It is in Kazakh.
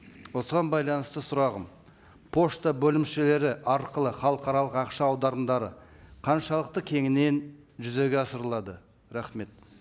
осыған байланысты сұрағым пошта бөлімшелері арқылы халықаралық ақша аударымдары қаншалықты кеңінен жүзеге асырылады рахмет